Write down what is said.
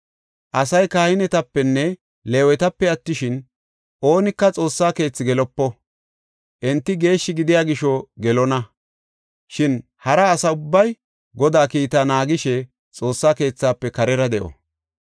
Oothiya kahinetapenne Leewetape attishin, oonika Xoossa keethi gelopo. Enti geeshshi gidiya gisho gelonna; shin hara asa ubbay Godaa kiita naagishe Xoossa keethaafe karera de7o.